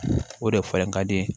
O de falen ka di